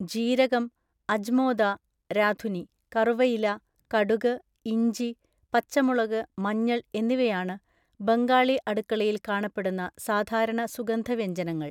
ജീരകം, അജ്മോദ (രാധുനി), കറുവയില, കടുക്, ഇഞ്ചി, പച്ചമുളക്, മഞ്ഞൾ എന്നിവയാണ് ബംഗാളി അടുക്കളയിൽ കാണപ്പെടുന്ന സാധാരണ സുഗന്ധവ്യഞ്ജനങ്ങൾ.